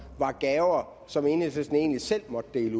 var gaver som enhedslisten egentlig selv måtte dele